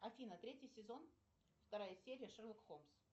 афина третий сезон вторая серия шерлок холмс